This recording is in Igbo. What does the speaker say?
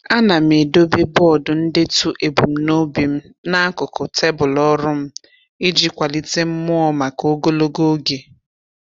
A na m edobe bọọdụ ndetu ebumnobi m n'akụkụ tebụl ọrụ m iji kwalite mmụọ maka ogologo oge.